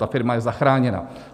Ta firma je zachráněna.